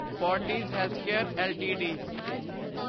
Fortis healthcare LTD